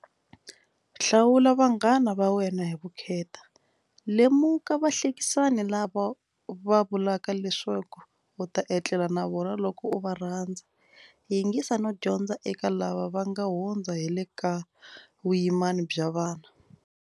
Hlawula vanghana va wena hi vukheta. Lemuka vahlekisani lava va vulaka leswaku u ta etlela na vona loko u va rhandza. Yingisa no dyondza eka lava va nga hundza hi le ka vuyimani bya vana.